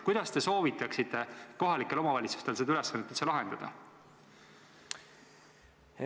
Kuidas te soovitaksite kohalikel omavalitsustel seda ülesannet lahendada?